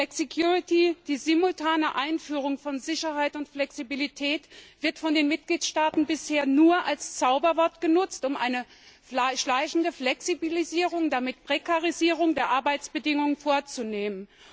Flexicurity, die simultane Einführung von Sicherheit und Flexibilität, wird von den Mitgliedstaaten bisher nur als Zauberwort genutzt, um eine schleichende Flexibilisierung und damit Prekarisierung der Arbeitsbedingungen vorzunehmen.